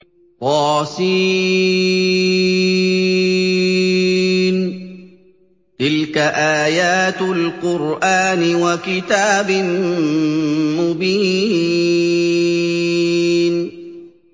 طس ۚ تِلْكَ آيَاتُ الْقُرْآنِ وَكِتَابٍ مُّبِينٍ